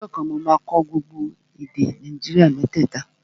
Ọjọ́ kan, mo máa kọ́ gbogbo èdè Nàìjíríà mẹ́tẹ̀ta